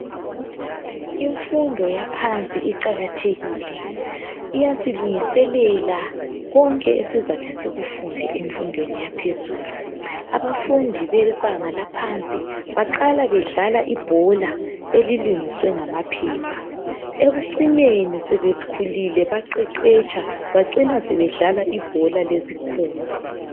Imfundo yaphansi iqakathekile. Iyasilungiselela konke esizathi sikufunde emfundweni yaphezulu. Abafundi bebanga laphansi baqala bedlala ibhola elilungiswe ngamaphepha. Ekucineni sebekhulile baqeqetsha bacina sebedlala ibhola lesikhumba.